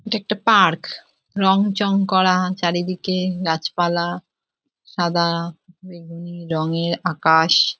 এটা একটা পার্ক রঙ চং করা চারিদিকে গাছপালা সাদা বেগুনি রংয়ের আকাশ।